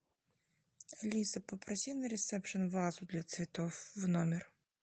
алиса попроси на ресепшн вазу для цветов в номер